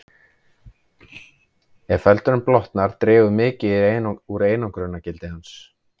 Ef feldurinn blotnar dregur mikið úr einangrunargildi hans.